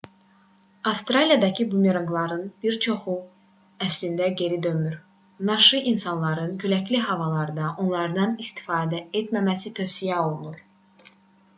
avstraliyadakı bumeranqların bir çoxu əslində geri dönmür naşı insanların küləkli havalarda ondan istifadə etməməsi tövsiyə olunur